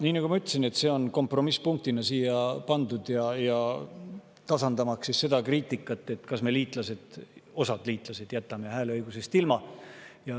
Jah, nagu ma ütlesin, see on kompromissipunktina siia pandud, tasandamaks seda kriitikat, et kas me jätame osa liitlas hääleõigusest ilma.